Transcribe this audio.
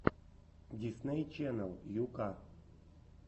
дисней ченнел ю ка